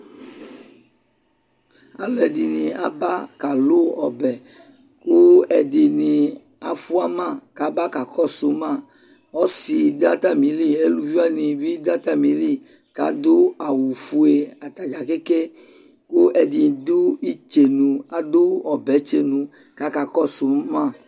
Alʋɛdɩnɩ aba kalʋ ɔbɛ kʋ ɛdɩnɩ ma kabakakɔsʋ ma Ɔsɩ dʋ atamili, eluviwanɩ bɩ dʋ atamili k'adʋ awʋ fue atadzaa keke, kʋ ɛdɩ dʋ itsenu, adʋ ɔbɛtsenu k'akakɔsʋ ma